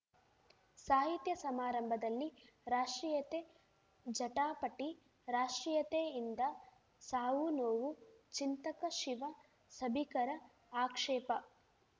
ಸಾಹಿತ್ಯ ಸಮಾರಂಭದಲ್ಲಿ ರಾಷ್ಟ್ರೀಯತೆ ಜಟಾಪಟಿ ರಾಷ್ಟ್ರೀಯತೆಯಿಂದ ಸಾವುನೋವು ಚಿಂತಕ ಶಿವ ಸಭಿಕರ ಆಕ್ಷೇಪ